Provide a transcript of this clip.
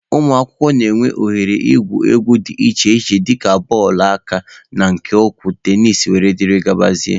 Ụmụakwụkwọ na-enwe oghere igwu egwu dị iche iche dịka bọọlụ aka na nke ụkwụ, tenisi wdg.